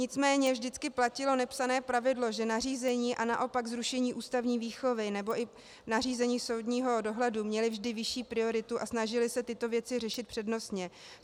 Nicméně vždycky platilo nepsané pravidlo, že nařízení a naopak zrušení ústavní výchovy nebo i nařízení soudního dohledu měly vždy vyšší prioritu a snažili se tyto věci řešit přednostně.